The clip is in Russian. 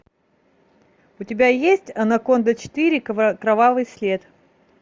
у тебя есть анаконда четыре кровавый след